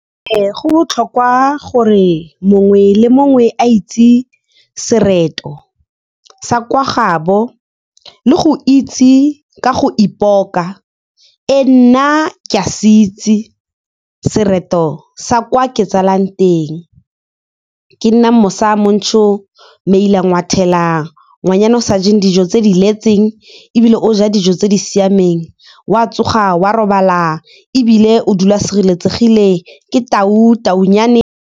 Ee, go botlhokwa gore mongwe le mongwe a itse sereto sa kwa gabo le go itse ka go ipoka. Ee, nna ke a se itse sereto sa kwa ke tsalwang teng. Ke nna Mosa Montsho meila ngwathela, ngwanyana o sa jeng dijo tse di letseng, ebile o ja dijo tse di siameng, o a tsoga, o a robala, ebile o dula a sireletsegile. Ke tau, taunyane.